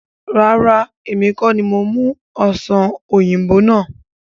Rárá, èmi kọ́ni mo mú Ọ̀sán oyinbo náà.